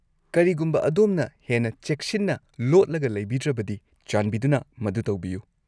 ꯀꯔꯤꯒꯨꯝꯕ ꯑꯗꯣꯝꯅ ꯍꯦꯟꯅ ꯆꯦꯛꯁꯤꯟꯅ ꯂꯣꯠꯂꯒ ꯂꯩꯕꯤꯗ꯭ꯔꯕꯗꯤ, ꯆꯥꯟꯕꯤꯗꯨꯅ ꯃꯗꯨ ꯇꯧꯕꯤꯌꯨ꯫